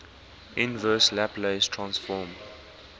inverse laplace transform